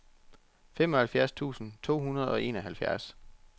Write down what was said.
femoghalvfjerds tusind to hundrede og enoghalvfjerds